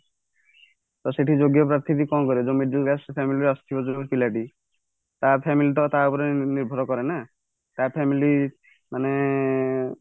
ତ ସେଠି ଯୋଗ୍ୟ ପ୍ରାର୍ଥୀ ବି କଣ କରିବ ଯୋଉ middle class family ରୁ ଯୋଉ ଆସୁଥିବ ଯୋଉ ପିଲାଟି ତା family ତ ତା ଉପରେ ନିର୍ଭର କରେନା ତା family ମାନେ